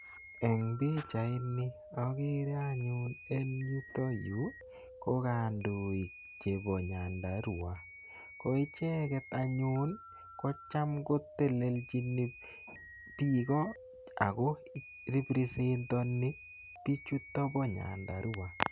Eng pichaini agere anyun en yutok yu ko kandoik chebo Nyandarua. Ko icheget anyun kocham kotelelchini biik ago represent onibiichutet bo Nyandarua.